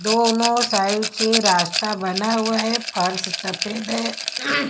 दोनों साइड से रास्ता बना हुआ है फर्स सफेद है ।